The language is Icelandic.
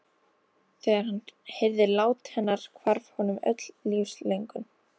Þegar hann heyrði lát hennar hvarf honum öll lífslöngun.